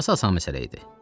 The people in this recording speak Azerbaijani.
Sonrası asan məsələ idi.